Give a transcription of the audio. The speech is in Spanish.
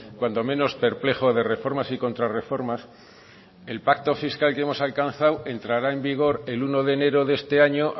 cuando menos perplejo de reformas y contrarreformas el pacto fiscal que hemos alcanzado entrará en vigor el uno de enero de este año